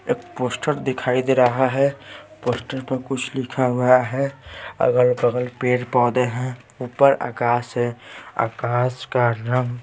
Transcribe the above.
एक पोस्टर दिखाई दे रहा हैं पोस्टर पर कुछ लिखा हुआ हैं अगल-बगल पेड़ पौधे हैं ऊपर आकाश हैं आकाश का रंग--